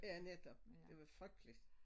Ja netop det var frygteligt